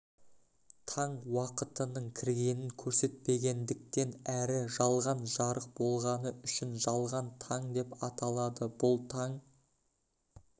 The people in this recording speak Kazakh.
таң уақытының кіргенін көрсетпегендіктен әрі жалған жарық болғаны үшін жалған таң деп аталады бұл таң